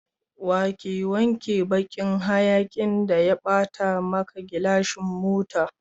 Wanke wancan bakin hayakin da ya bata maka gilashin mota.